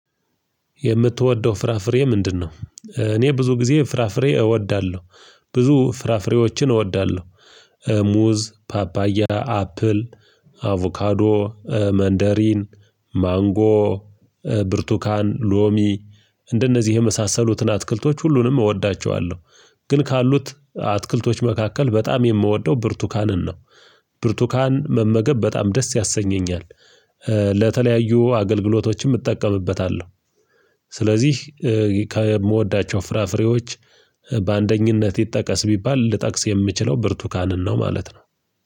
የምትወደው ፍራፍሬ ምንድነው? እኔ ብዙ ጊዜ ፍራፍሬ እወዳለሁ። ብዙ ፍራፍሬዎችን እወዳለሁ። ሙዝ ፓፓያ አፕል አቮካዶ መንደሪን ማንጎ ብርቱካን ሎሚ እንደነዚህ የመሳሰሉትን አትክልቶች ሁሉንም እወዳቸዋለሁ። ግን ካሉት አትክልቶች መካከል በጣም የምወደው ብርቱካንን ነው። ብርቱካን መመገብ በጣም ደስ ያሰኘኛል። ለተለያዩ አገልግሎቶችም እጠቀምበታለሁ። ስለዚህ ከምወዳቸው ፍራፍሬዎች በአንደኝነት ይጠቀስ ቢባል ልጠቅስ የምችለው ብርቱካንን ነው ማለት ነው።